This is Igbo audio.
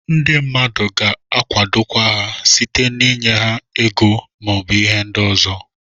Ndị mmadụ ga-akwadokwa ha site na ịnye ha ego maọbụ ihe ndị ọzọ.